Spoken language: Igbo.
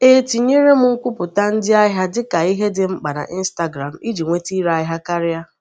E tinyere m nkwupụta ndị ahịa dị ka ihe dị mkpa na Instagram iji nweta ire ahịa karịa.